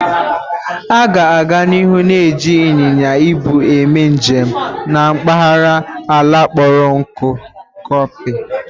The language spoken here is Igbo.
A ga-aga n'ihu na-eji ịnyịnya -ibu eme njem na mpaghara ala kpọrọ nkụ Copy